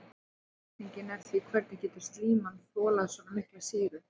Spurningin er því hvernig getur slíman þolað svona mikla sýru?